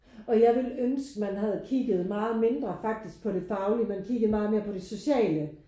Og jeg ville ønske man havde kigget meget mindre faktisk på det faglige men kigget meget mere på det sociale